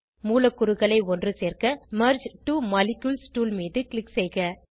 மூலக்கூறுகளை ஒன்று சேர்க்க மெர்ஜ் ட்வோ மாலிக்யூல்ஸ் டூல் மீது க்ளிக் செய்க